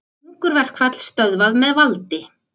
Hungurverkfall stöðvað með valdi